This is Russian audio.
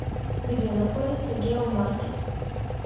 где находится геомаркет